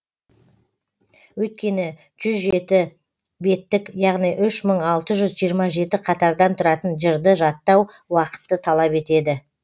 өйткені жүз жеті беттік яғни үш мың алты жүз жиырма жеті қатардан тұратын жырды жаттау уақытты талап етеді